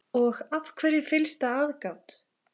Og af hverju fyllsta aðgát?